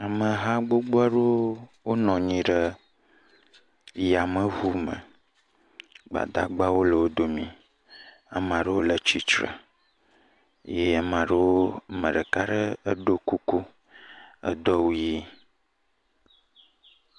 Amha gbogbo aɖewo wonɔ anyi ɖe yameŋu me. Gbadagbawo le wo domi. Ame aɖewo le tsitre eye ame aɖewo ame ɖeka aɖe eɖo kuku edo awu ʋi.